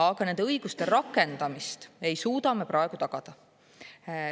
Aga nende õiguste rakendamist ei suuda me praegu tagada.